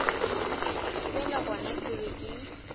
bjale gona ke be ke